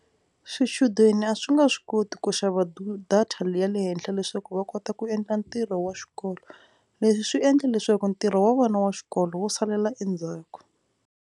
Swichudeni a swi nga swi koti ku xava data le ya le henhla leswaku va kota ku endla ntirho wa xikolo. Leswi swi endla leswaku ntirho wa vona wa xikolo wu salela endzhaku.